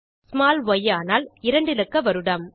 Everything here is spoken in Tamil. ஸ்மால் ய் ஆனால் 2 இலக்க வருடம்